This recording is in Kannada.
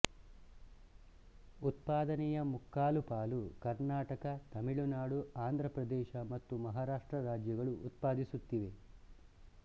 ಉತ್ಪಾದನೆಯ ಮುಕ್ಕಾಲುಪಾಲು ಕರ್ನಾಟಕ ತಮಿಳುನಾಡು ಆಂಧ್ರ ಪ್ರದೇಶ ಮತ್ತು ಮಹಾರಾಷ್ಟ್ರ ರಾಜ್ಯಗಳು ಉತ್ಪಾದಿಸುತ್ತಿವೆ